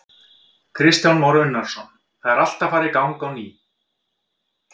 Kristján Már Unnarsson: Það er allt að fara í gang á ný?